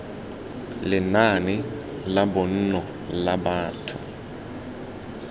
lenaane la bonno la batho